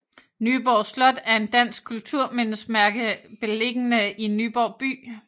Nyborg Slot er et dansk kulturmindesmærke beliggende i Nyborg by